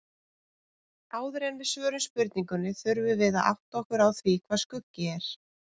Áður en við svörum spurningunni þurfum við að átta okkur á því hvað skuggi er.